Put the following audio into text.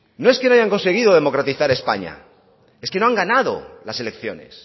no es que no hayan conseguido democratizar españa es que no han ganado las elecciones